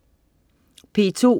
P2: